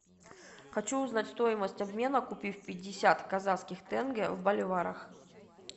хочу узнать стоимость обмена купив пятьдесят казахских тенге в боливарах